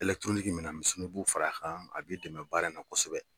minɛn misɛnninw i b'u far'a kan a b'i dɛmɛ baara in na kosɛbɛ.